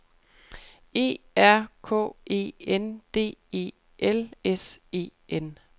E R K E N D E L S E N